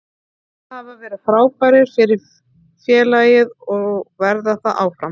Þeir hafa verið frábærir fyrir félagið og verða það áfram.